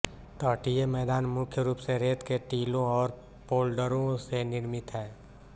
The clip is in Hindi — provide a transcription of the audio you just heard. तटीय मैदान मुख्य रूप से रेत के टीलों और पोल्डरों से निर्मित है